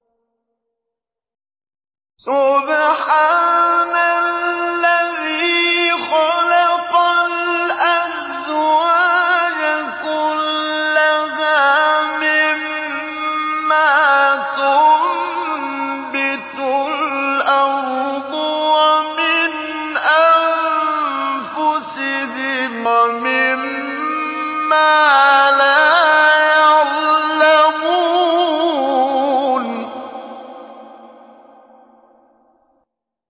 سُبْحَانَ الَّذِي خَلَقَ الْأَزْوَاجَ كُلَّهَا مِمَّا تُنبِتُ الْأَرْضُ وَمِنْ أَنفُسِهِمْ وَمِمَّا لَا يَعْلَمُونَ